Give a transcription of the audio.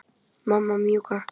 Mamma mjúka.